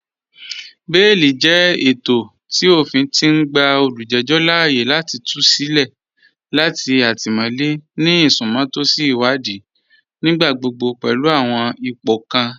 Bẹẹ̀lì jẹ ètọ̀ tí ófìn ti n gbà olújẹjọ láààyè láti tù sí ilẹ̀ latí àtímọ̀lẹ̀ ni isùnmọ̀tọ̀sì ìwàdìí, nígbàgbọ́gbọ́ pẹ̀lú àwọn ìpọ̀ kàn